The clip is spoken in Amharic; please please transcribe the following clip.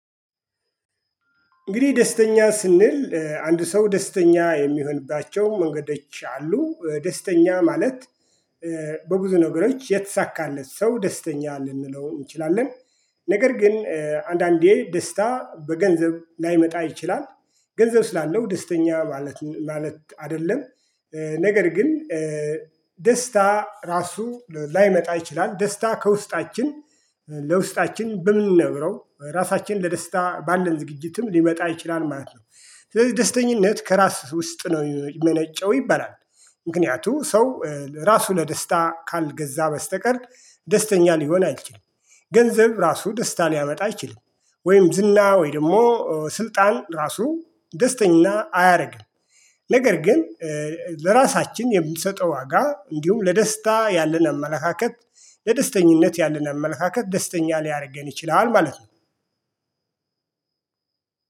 እንግዲህ ደስተኛ ስንል አንድ ሰው ደስተኛ የሚሆንባቸው መንገዶች አሉ ደስተኛ ማለት በብዙ ነገሮች የተሳካለት ሰው ደስተኛ ልንለው እንችላለን። ነገር ግን አንዳንዴ ደስታ በገንዘብ ላይመጣ ይችላል ገንዘብ ስላለው ደስተኛ ማለት አይደለም። ነገር ግን ደስታ ራሱ ላይመጣ ይችላል ደስታ ከውስጣችን ለውስጣችን በምንነግረው ራሳችን ለደስታ ባለን ዝግጅትም ሊመጣ ይችላል ማለት ነው። ስለዚህ ደስተኝነት ከራስ ውስጥ ነው የሚመነጨው ይባላል። ምክንያቱ ሰው ራሱ ለደስታ ካልገዛ በስተቀር ደስተኛ ሊሆን አይችልም። ገንዘብ ራሱ ደስታ ሊያመጣ አይችልም። ወይም ዝና ወይ ደግሞ ስልጣን ራሱ ደስተኛ አያደርግም። ነገር ግን ለራሳችን የምንሰጠው ዋጋ እንዲሁም ለደስታ ያለን አመለካከት ለደስተኝነት ያለን አመለካከት ደስተኛ ሊያደርገን ይችላል ማለት ነው።